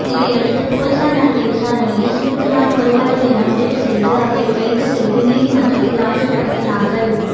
இதையடுத்து பொலிசார் நடத்திய விசாரணையில் ஸ்மித் தான் கொலையாளி என முடிவு செய்து அவரை கைது செய்து நீதிமன்றத்தில் ஆஜர்படுத்தினார்கள்